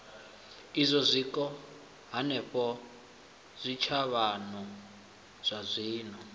idzwo zwiko hanefho zwitshavhano zwazwino